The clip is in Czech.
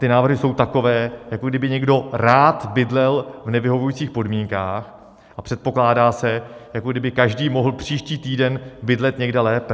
Ty návrhy jsou takové, jako kdyby někdo rád bydlel v nevyhovujících podmínkách, a předpokládá se, jako by každý mohl příští týden bydlet někde lépe.